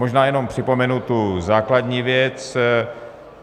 Možná jenom připomenu tu základní věc.